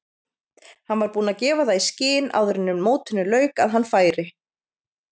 Hann var búinn að gefa það í skyn áður en mótinu lauk að hann færi.